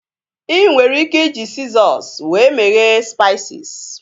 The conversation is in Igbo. ị nwere ike iji sizọs wee meghe spaisis